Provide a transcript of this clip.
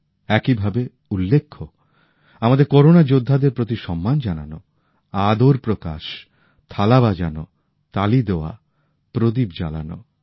একইভাবে উল্লেখ্য আমাদের করোনা যোদ্ধাদের প্রতি সম্মান জানানো আদর প্রকাশ থালা বাজানো তালি দেওয়া প্রদীপ জ্বালানো